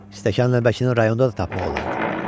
Stəkan-nəlbəkini rayonda da tapmaq olardı.